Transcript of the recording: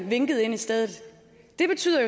vinket ind i stedet det betyder